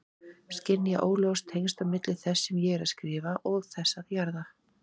Skynja óljós tengsl á milli þess sem ég er að skrifa og þess að jarða.